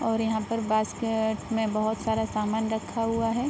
और यहाँ पर बास्केट में बहोत सारा सामान रखा हुआ है|